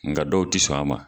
Nga dɔw tɛ sɔn a ma.